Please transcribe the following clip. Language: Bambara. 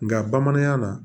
Nga bamanankan na